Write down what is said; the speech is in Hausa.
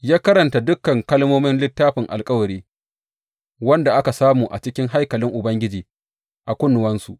Ya karanta dukan kalmomin Littafin Alkawari wanda aka samu a cikin haikalin Ubangiji a kunnuwansu.